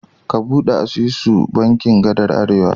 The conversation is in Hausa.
Ka ɓude asusu da bankin gadar Arewa.